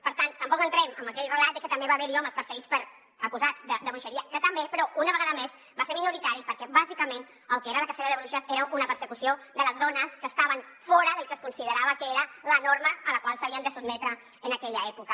per tant tampoc entrem amb aquell relat de que també va haver hi homes acusats de bruixeria que també però una vegada més va ser minoritari perquè bàsicament el que era la cacera de bruixes era una persecució de les dones que estaven fora del que es considerava que era la norma a la qual s’havien de sotmetre en aquella època